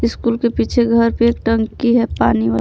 School के पीछे घर पे टंकी है पानी वाला।